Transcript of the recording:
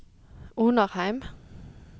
Onarheim